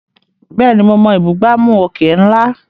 Bẹ́ẹ̀ni, mo mọ ìbúgbàmù òkè ńlá.